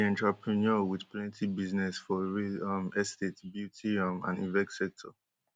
she be entrepreneur wit plenty business for real um estate beauty um and event sector.